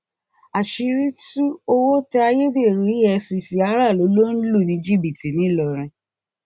àṣírí tu owó tẹ ayédèrú efcc aráàlú ló ń lù ní jìbìtì nìlọrin